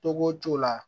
Togo t'o la